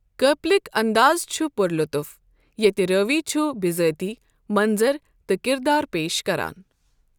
کاپلِک اندازٕ چھُ پُر لُطف، ییٚتہِ رٲوی چھُ بزٲتی مَنظر تہٕ کِردار پیش کران۔